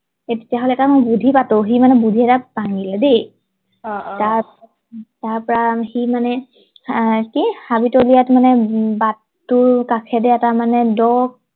এই তেতিয়া হলে মই এটা বুদ্ধি পাটো সি মানে দেই অ অ তাৰ তাৰ পৰা সি মানে আহ কি হাবিতলিয়াত মানে বাত তোৰ কাষেৰে মানে এটা দ